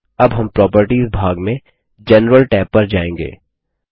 अब हम प्रॉपर्टीज भाग में जनरल टैब पर जाएँगे